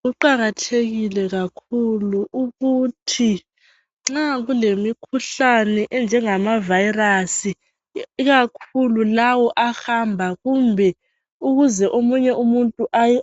kuqakathekile kakhulu ukuthi nxa kulemikhuhlane enjengama virus ikakhulu lawa ahamba kumbe ukuze omunye umuntu